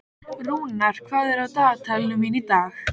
Rúnar, hvað er á dagatalinu mínu í dag?